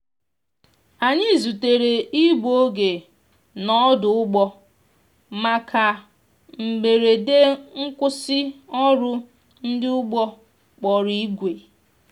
anyi zutere igbụ oge n' odu‐ụgbọ maka mgberede nkwụsi ọrụ ndi ụgbọ kpọrọ igwe